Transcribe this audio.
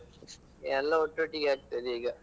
ಎಲ್ಲ ಒಟ್ಟೊಟ್ಟಿಗೆ ಆಗ್ತದೆ ಈಗ.